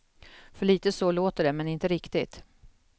För lite så låter det, men inte riktigt.